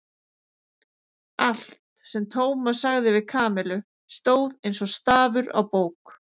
Allt, sem Tómas sagði við Kamillu, stóð eins og stafur á bók.